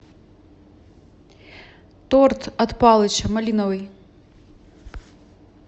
торт от палыча малиновый